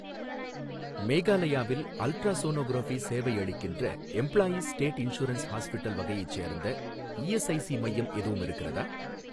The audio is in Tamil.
மேகாலயாவில் அல்ட்ராசோனோகிராஃபி சேவை அளிக்கின்ற, எம்ப்ளாயீஸ் ஸ்டேட் இன்சூரன்ஸ் ஹாஸ்பிட்டல் வகையைச் சேர்ந்த இஎஸ்ஐஸி மையம் எதுவும் இருக்கிறதா?